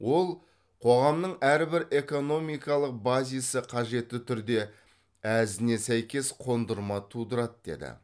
ол қоғамның әрбір экономикалық базисі қажетті түрде әзіне сәйкес қондырма тудырады деді